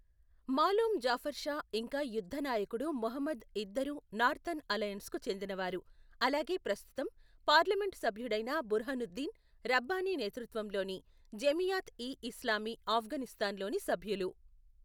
మాలోమ్ జాఫర్ షా ఇంకా యుద్దనాయకుడు మెహమూద్ ఇద్దరూ నార్తర్న్ అలయన్స్కు చెందినవారు, అలాగే ప్రస్తుతం పార్లమెంటు సభ్యుడైన బుర్హానుద్దీన్ రబ్బానీ నేతృత్వంలోని జమియాత్ ఇ ఇస్లామీ ఆఫ్ఘనిస్తాన్లోని సభ్యులు.